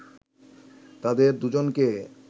তাদের দুজনকে